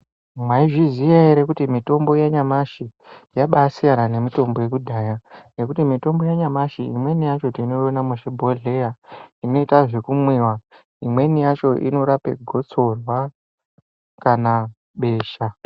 Maizviziya ere kuti mitombo yanyamashi yabasiyana siyana nemitombo yakudhaya. Nekuti mitombo yanyamashi inemweni yacho tinoiona muzvibhodhlera inoite zvekumwiva. Imweni yacho inorape gotsorwa kana besha.